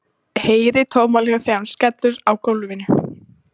Heyri tómahljóð þegar hún skellur á gólfinu.